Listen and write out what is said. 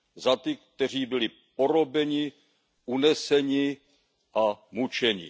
Za ty, kteří byli porobeni, uneseni a mučeni.